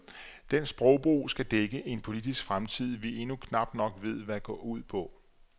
Den sprogbrug skal dække en politisk fremtid, vi endnu knap nok ved hvad går ud på.